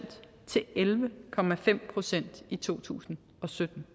til elleve procent i to tusind og sytten